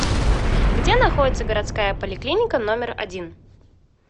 где находится городская поликлиника номер один